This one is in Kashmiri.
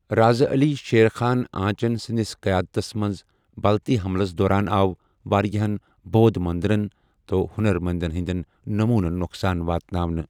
رازٕ علی شیر خان آنٛچن سٕنٛدِس قیادتس منٛز بلتی حملس دوران آو واریاہن بودھ منٛدرن تہٕ ہُنٛر مٔنٛدن ہِنٛدیٚن نموٗنن نۄقصان واتناونہٕ۔